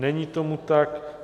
Není tomu tak.